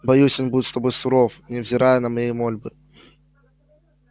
боюсь он будет с тобой суров невзирая на мои мольбы